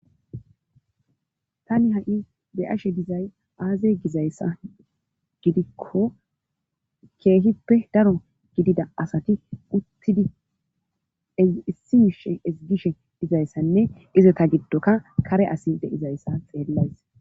Tani ha7i be ashe dizay aaze gizayssa gidikko keehippe daro gidida asati uttidi issi miishe ezigishe dizayssanne ize ta giddoka kare asi de7izayssa xeellays.